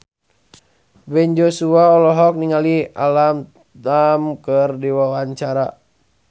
Ben Joshua olohok ningali Alam Tam keur diwawancara